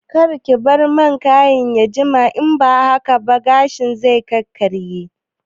Karki bar man kayin ya jima in ba haka ba gashin zai karye